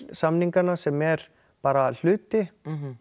samninganna sem er bara hluti